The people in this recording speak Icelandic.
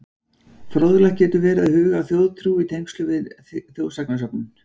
Fróðlegt getur verið að huga að þjóðtrú í tengslum við þjóðsagnasöfnun.